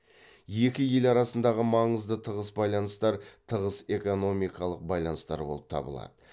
екі ел арасындағы маңызды тығыз байланыстар тығыз экономикалық байланыстар болып табылады